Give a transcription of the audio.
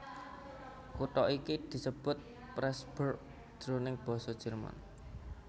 Kutha iki disebut Pressburg jroning basa Jerman